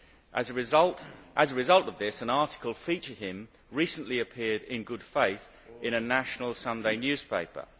As a result of this, an article featuring him recently appeared, in good faith, in a national Sunday newspaper.